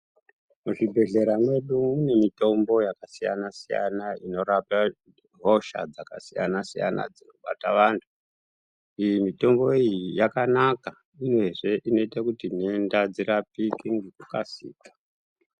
Muzvibhedhlera medu mune mitombo yakasiyana siyana inorapa hosha dzakasiyana siyana dzinobata vantu. Iyi mitombo iyi yakanaka uyezve inoite kuti ntenda dzirapike ngekukasika.